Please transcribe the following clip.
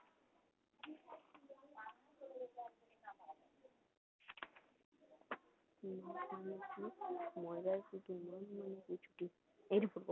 মজায় শুধু মাছ মানেই কি ছুটি